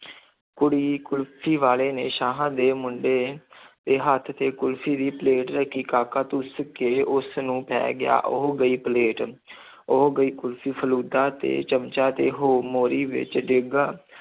ਕੁੜੀ ਕੁਲਫ਼ੀ ਵਾਲੇ ਨੇ ਸ਼ਾਹਾਂ ਦੇ ਮੁੰਡੇ ਦੇ ਹੱਥ ਤੇ ਕੁਲਫ਼ੀ ਦੀ ਪਲੇਟ ਰੱਖੀ, ਕਾਕਾ ਧੁੱਸ ਕੇ ਉਸ ਨੂੰ ਪੈ ਗਿਆ, ਉਹ ਗਈ ਪਲੇਟ ਉਹ ਗਈ ਕੁਲਫ਼ੀ, ਫ਼ਲੂਦਾ ਤੇ ਚਮਚਾ ਤੇ ਹੋ ਮੋਰੀ ਵਿੱਚ ਡਿੱਗਾ